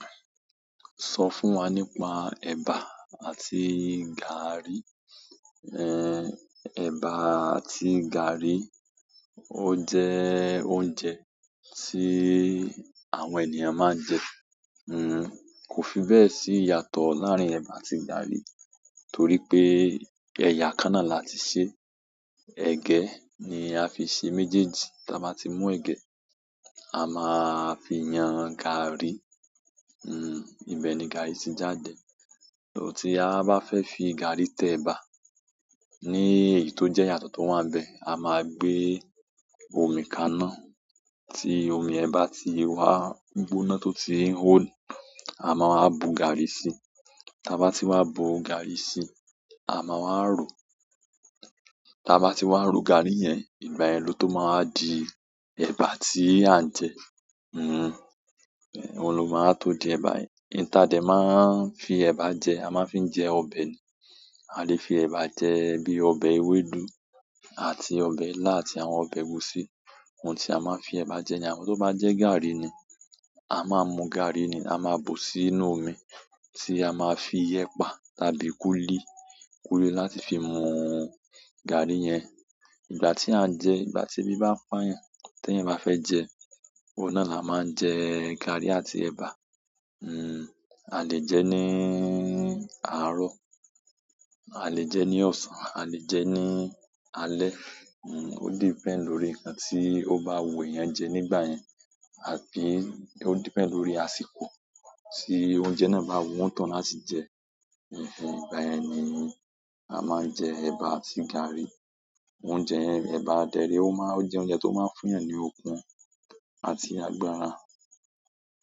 Sọ fún wa nípa ẹba àti gààrí. Ẹ̀bà àti gààrí ó jẹ́ oúnjẹ tí àwọn ènìyàn máa ń jẹ. Kò fi bẹ́ẹ̀ sí ìyàtọ̀ láàrin ẹ̀bà àti gààrí torí pé ẹ̀yà kan náà la ti ṣe. Ẹ̀gẹ́ ni a fi ṣe méjèèjì. Tí a bá ti mú ẹ̀gẹ́, a máa fi yan gààrí, ibẹ̀ ni gààrí ti jáde. Tí a bá fẹ́ fi gààrí tẹ ẹ̀bà, ní èyí tó jẹ́ ìyàtọ̀ tó wà n bẹ, a máa gbé omi kaná, tí omi ẹ̀bà ti wa gbóná tó ti n hò, a máa bu gààrí sí. Tí a bá ti wá bu gààrí sí, a máa wa rọ. Tí a bá ti wá ro gààrí yẹn, ìgbà yen ló tó máa wa di ẹ̀bà tí à ń jẹ. Òun ló máa tó di ẹ̀bà yẹn. Ohun ta dè máa ń fi ẹ̀bà jẹ, a máa ń fi jẹ ọbẹ̀ ni. A lè fi ẹ̀bà jẹ bíi ọbẹ̀ ewédú àti ọbẹ̀ ilá àti ọbẹ̀ ẹgusi ohun ti a maa n fi eba je, amo to ba je gaari ni a máa mú gààrí ni, a máa bù sí inú omi tí a máa fi ẹpa tàbí kúlí. Kuli láti fi mu gaari yen. Ìgbà tí à ń jẹ, ìgbà tí ebi bá ń pa yan, tí eyan bá fẹ́ jẹ, òun náà la máa ń jẹ gààrí àti ẹ̀bà. A lè jẹ ní àárọ̀, a lè jẹ ní ọ̀sán, a lè jẹ ní alẹ́. O depend lórí nkan to ba wu eyan je nígbà yen, tàbí o depend lórí àsìkò ti oúnjẹ náà ba wu onitohun láti je. Ìgbà yen ni a máa ń jẹ ẹ̀bà àti gààrí. Oúnjẹ yen, ẹ̀bà dẹ ree, ó jẹ oúnjẹ tó máa ń fún yàn ní okun àti agbára.